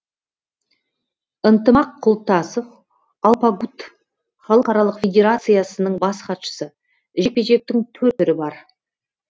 ынтымақ құлтасов алпагут халықаралық федерациясының бас хатшысы жекпе жектің төрт түрі бар